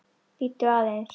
Bíddu aðeins!